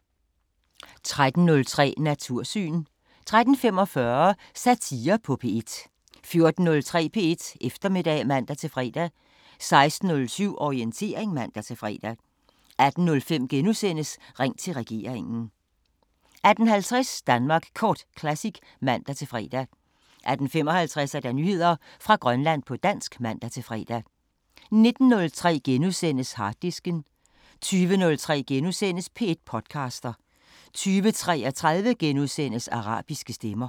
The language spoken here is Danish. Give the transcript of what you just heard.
13:03: Natursyn 13:45: Satire på P1 14:03: P1 Eftermiddag (man-fre) 16:07: Orientering (man-fre) 18:05: Ring til regeringen * 18:50: Danmark Kort Classic (man-fre) 18:55: Nyheder fra Grønland på dansk (man-fre) 19:03: Harddisken * 20:03: P1 podcaster * 20:33: Arabiske Stemmer *